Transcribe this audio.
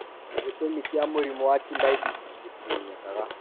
Gĩtũmi kĩa mũrimũ wa Chilaiditi gĩtimenyekaga.